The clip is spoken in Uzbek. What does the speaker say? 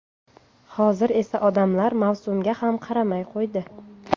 Hozir esa odamlar mavsumga ham qaramay qo‘ydi.